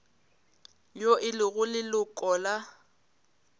yo e lego leloko la